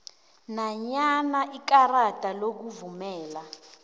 nanyana ikarada lokuvumela